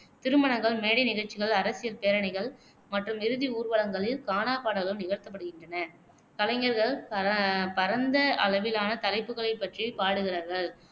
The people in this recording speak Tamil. திருமணங்கள், மேடை நிகழ்ச்சிகள், அரசியல் பேரணிகள் மற்றும் இறுதி ஊர்வலங்களில் கானா பாடல்கள் நிகழ்த்தப்படுகின்றன. கலைஞர்கள் ப பரந்த அளவிலான தலைப்புகளைப் பற்றி பாடுகிறார்கள்,